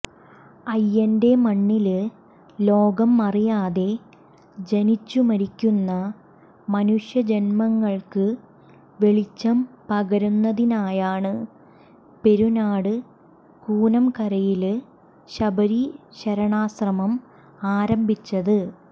അയ്യന്റെ മണ്ണില് ലോകം അറിയാതെ ജനിച്ചു മരിക്കുന്ന മനുഷ്യജന്മങ്ങള്ക്ക് വെളിച്ചം പകരുന്നതിനായാണ് പെരുനാട് കൂനംകരയില് ശബരി ശരണാശ്രമം ആരംഭിച്ചത്